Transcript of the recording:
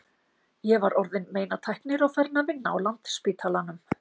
Ég var orðin meinatæknir og farin að vinna á Landspítalanum.